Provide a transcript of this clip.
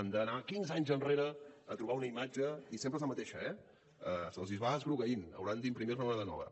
han d’anar quinze anys enrere a trobar una imatge i sempre és la mateixa eh se’ls va esgrogueint hauran d’imprimir ne una de nova